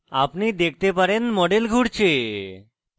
আপনি দেখতে পারেন model ঘুরছে